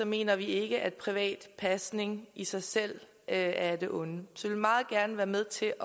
mener vi ikke at privat pasning i sig selv er af det onde så vi vil meget gerne være med til